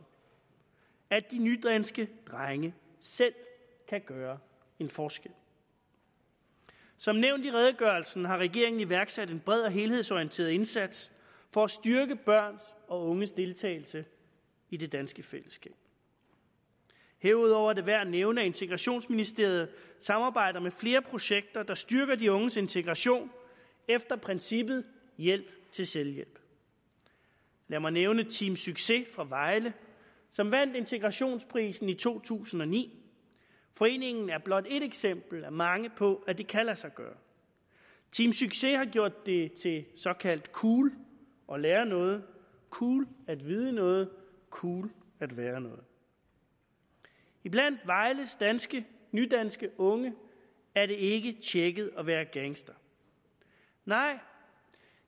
at de nydanske drenge selv kan gøre en forskel som nævnt i redegørelsen har regeringen iværksat en bred og helhedsorienteret indsats for at styrke børns og unges deltagelse i det danske fællesskab herudover er det værd at nævne at integrationsministeriet samarbejder med flere projekter der styrker de unges integration efter princippet hjælp til selvhjælp lad mig nævne team succes fra vejle som vandt integrationsprisen i to tusind og ni foreningen er blot ét eksempel blandt mange på at det kan lade sig gøre team succes har gjort det til såkaldt cool at lære noget cool at vide noget cool at være noget blandt vejles nydanske nydanske unge er det ikke tjekket at være gangster nej